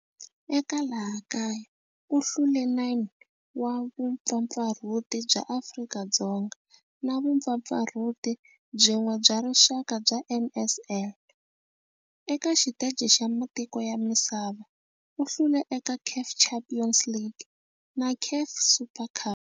Eka laha kaya u hlule 9 wa vumpfampfarhuti bya Afrika-Dzonga na vumpfampfarhuti byin'we bya rixaka bya NSL. Eka xiteji xa matiko ya misava, u hlule eka CAF Champions League na CAF Super Cup.